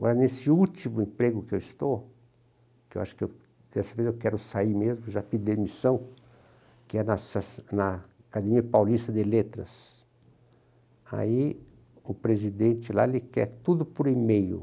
Agora, nesse último emprego que eu estou, que eu acho que eu, dessa vez eu quero sair mesmo, já pedi demissão, que é na na Academia Paulista de Letras, aí o presidente lá quer tudo por e-mail.